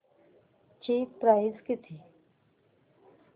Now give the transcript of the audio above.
ची प्राइस किती